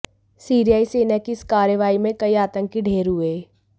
सीरियाई सेना की इस कार्यवाही में कई आतंकी ढेर हुए